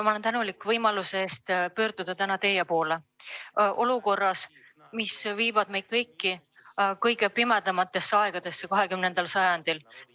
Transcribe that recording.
Ma olen tänulik võimaluse eest pöörduda täna teie poole olukorras, mis viib meid kõiki kõige pimedamatesse aegadesse 21. sajandil.